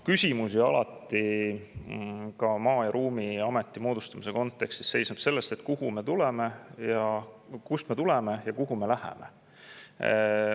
Ka Maa- ja Ruumiameti moodustamise kontekstis seisneb küsimus selles, kust me tuleme ja kuhu me läheme.